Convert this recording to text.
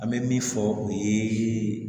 An bɛ min fɔ o ye